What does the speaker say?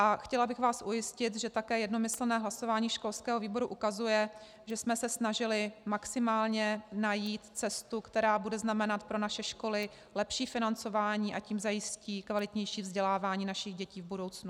A chtěla bych vás ujistit, že také jednomyslné hlasování školského výboru ukazuje, že jsme se snažili maximálně najít cestu, která bude znamenat pro naše školy lepší financování, a tím zajistí kvalitnější vzdělávání našich dětí v budoucnu.